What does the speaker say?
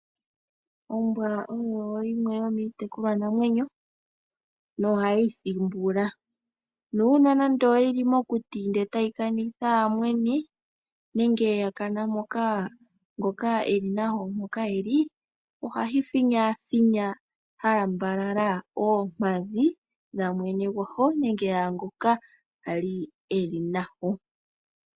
Ombwa oyo yimwe yomiitekulwa namwenyo, nohayi thimbula nuuna nando oyili mokuti ndele tayi kanitha ngoka eli nayo ohayi finyafinya oompadhi dhamwene gwayo nenge yaangoka ali eli nayo.